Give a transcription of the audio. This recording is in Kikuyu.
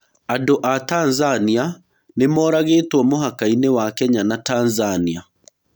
Andũa Tanzania nĩmoragĩtwo mũhakainĩ wa Kenya na Tanzania.